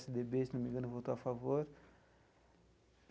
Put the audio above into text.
pê esse dê bê, se não me engano, votou a favor.